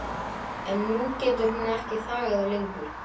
En nú getur hún ekki þagað lengur.